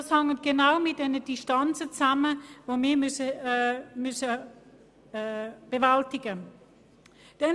Diese hängt genau mit den Distanzen zusammen, die wir bewältigen müssen.